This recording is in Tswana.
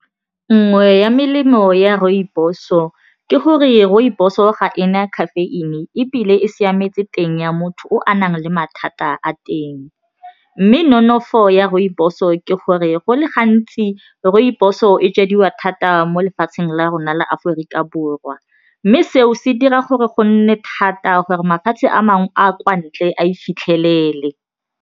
Nngwe ya melemo ya rooibos-o ke gore rooibos-o ga ena caffeine ebile e siametse teng ya motho o a nang le mathata a teng mme nonofo o ya rooibos-o ke gore go le gantsi rooibos-o e jadiwa thata mo lefatsheng la rona la Aforika Borwa mme seo se dira gore go nne thata gore mafatshe a mangwe a a kwa ntle a e fitlhelele.